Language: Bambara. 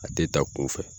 A tɛ da kunfɛ